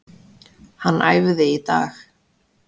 Hann æfði í dag.